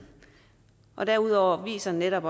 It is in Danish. derudover viser netop